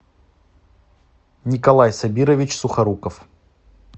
николай сабирович сухоруков